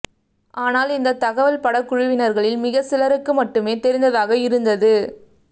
ஆனால் இந்த தகவல் படக்குழுவினர்களில் மிகச் சிலருக்கு மட்டுமே தெரிந்ததாக இருந்தது